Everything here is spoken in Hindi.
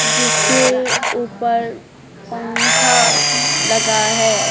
जिसके ऊपर पंखा लगा है।